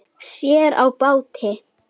Sér á báti.